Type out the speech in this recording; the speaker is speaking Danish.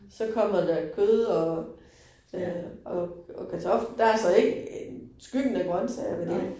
Så kommer der kød og ja og. Der så ikke skyggen af grøntsager ved det